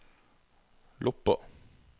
Loppa